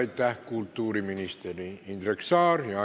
Aitäh, kultuuriminister Indrek Saar!